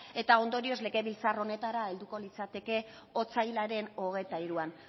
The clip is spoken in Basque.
eta ondorioz legebiltzar honetara helduko litzateke otsailaren hogeita hiruan